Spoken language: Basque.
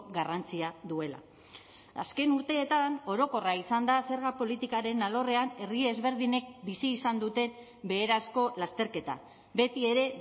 garrantzia duela azken urteetan orokorra izan da zerga politikaren alorrean herri ezberdinek bizi izan duten beherazko lasterketa betiere